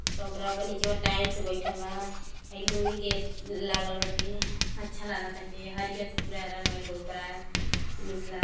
काउन्टरवा प नीचवा टाइल्स बइठल बा। हई लोहे के लागल बाटे। अच्छा लागताटे। हरीयर से पूरा रंगाईल बा पूरा। निक लाग --